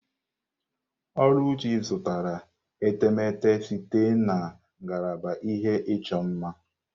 Oluchi zụtara etemeete site na ngalaba ihe ịchọ mma.